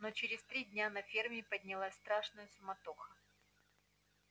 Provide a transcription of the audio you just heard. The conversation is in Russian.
но через три дня на ферме поднялась страшная суматоха